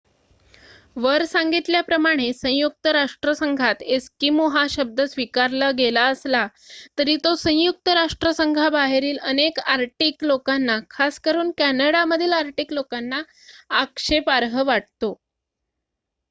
"वर सांगितल्याप्रमाणे संयुक्त राष्ट्रसंघात "एस्किमो" हा शब्द स्वीकारलेला गेला असला तरी तो संयुक्त राष्ट्रसंघाबाहेरील अनेक आर्टिक लोकांना खासकरून कॅनडामधील आर्टिक लोकांना आक्षेपार्ह वाटतो.